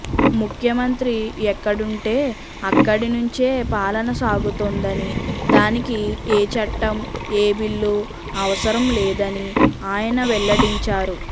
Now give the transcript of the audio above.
ముఖ్యమంత్రి ఎక్కడుంటే అక్కడి నుంచే పాలన సాగుతోందని దానికి ఏ చట్టం ఏ బిల్లు అవసరం లేదని ఆయన వెల్లడించారు